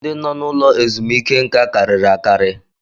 Ndị nọ n'ụlọ ezumike nká karịrị akarị